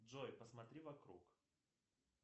джой посмотри вокруг